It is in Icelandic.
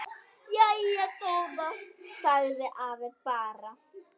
Jæja góða sagði afi bara.